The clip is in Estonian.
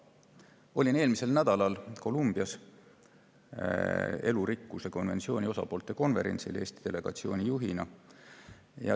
Olin eelmisel nädalal Colombias elurikkuse konventsiooni osapoolte konverentsil Eesti delegatsiooni juhina.